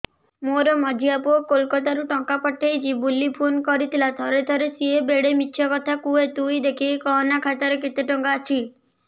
ମୋର ମଝିଆ ପୁଅ କୋଲକତା ରୁ ଟଙ୍କା ପଠେଇଚି ବୁଲି ଫୁନ କରିଥିଲା ଥରେ ଥରେ ସିଏ ବେଡେ ମିଛ କଥା କୁହେ ତୁଇ ଦେଖିକି କହନା ଖାତାରେ କେତ ଟଙ୍କା ଅଛି